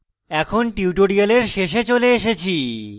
এখন tutorial শেষে চলে এসেছি